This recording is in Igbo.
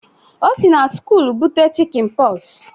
Ọ si na skụụl bute chikịn Pox.